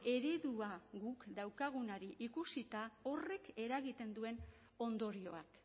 eredua guk daukagunari ikusita horrek eragiten duen ondorioak